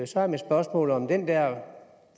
så er mit spørgsmål om den der